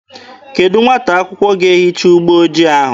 Kedụ nwata akwụkwọ ga-ehicha ụgbọ ojii ahụ?